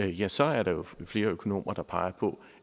ja så er der jo flere økonomer der peger på